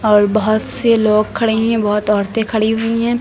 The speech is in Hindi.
और बहोत से लोग खड़े हुई हैं बहुत औरतें खड़ी हुई हैं।